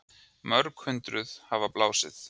Mörg hundruð hafa blásið